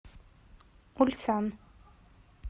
ульсан